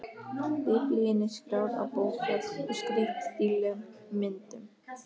Biblíunni skráð á bókfell og skreytt dýrlegum myndum.